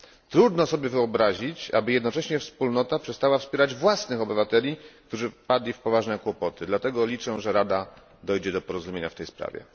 Trudno sobie wyobrazić, aby jednocześnie Wspólnota przestała wspierać własnych obywateli, którzy wpadli w poważne kłopoty, dlatego liczę, że Rada dojdzie do porozumienia w tej sprawie.